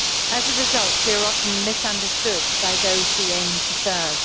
As a result, we are often misunderstood by those we aim to serve.